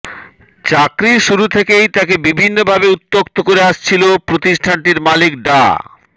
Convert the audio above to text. চাকরির শুরু থেকেই তাকে বিভিন্নভাবে উত্ত্যক্ত করে আসছিল প্রতিষ্ঠানটির মালিক ডা